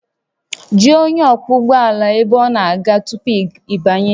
Jụọ onye ọkwọ ụgbọ ala ebe ọ na-aga tupu ị banye